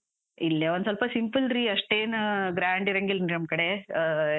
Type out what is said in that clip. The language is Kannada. ಇಲ್ಲೆ ಒಂದ್ ಸ್ವಲ್ಪ simple ರೀ, ಅಸ್ಟೇನಾ grand ಇರಂಗಿಲ್ರಿ ನಮ್ ಕಡೆ ಆ.